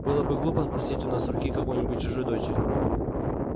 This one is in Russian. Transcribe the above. было бы глупо просить у нас руки какой-нибудь чужой дочери